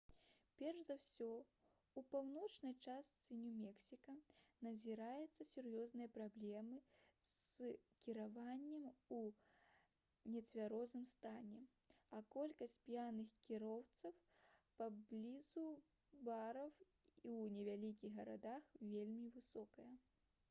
перш за ўсе у паўночнай частцы нью-мексіка назіраюцца сур'ёзныя праблемы з кіраваннем у нецвярозым стане а колькасць п'яных кіроўцаў паблізу бараў у невялікіх гарадах вельмі высокая